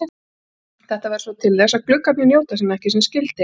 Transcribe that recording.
Þetta verður svo til þess að gluggarnir njóta sín ekki sem skyldi.